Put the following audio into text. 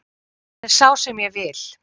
Hann er sá sem ég vil.